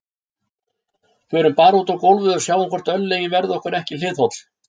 Förum bara út á gólfið og sjáum hvort örlögin verði okkur ekki hliðholl